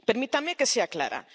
Permítanme que sea clara.